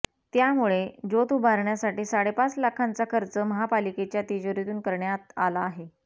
त्यामुळे ज्योत उभारण्यासाठी साडेपाच लाखांचा खर्च महापालिकेच्या तिजोरीतून करण्यात आला आहे